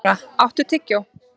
Mara, áttu tyggjó?